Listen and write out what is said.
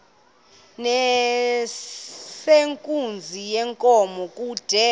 nezenkunzi yenkomo kude